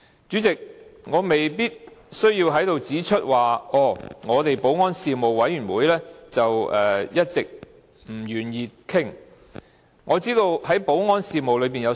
主席，我未必需要在此指出保安事務委員會一直不願意討論這議題，我知道保安事務範圍很廣。